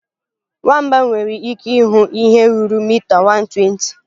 Nwamba nwere ike ịhụ ihe ruru mita 120.